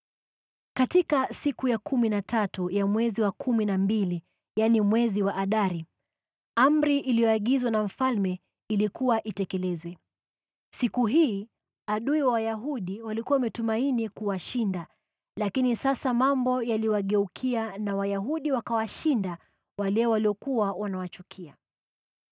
Katika siku ya kumi na tatu ya mwezi wa kumi na mbili, yaani mwezi wa Adari, amri iliyoagizwa na mfalme ilikuwa itekelezwe. Siku hii adui wa Wayahudi walikuwa wametumaini kuwashinda, lakini sasa mambo yaliwageukia na Wayahudi wakawashinda wale waliokuwa wanawachukia.